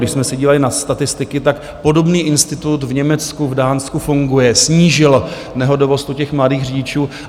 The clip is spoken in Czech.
Když jsme se dívali na statistiky, tak podobný institut v Německu, v Dánsku funguje, snížil nehodovost u těch mladých řidičů.